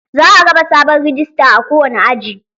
Za a raba sabon rijista a kowane aji.